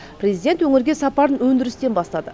президент өңірге сапарын өндірістен бастады